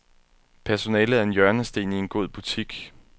Personalet er en hjørnesten i en god butik.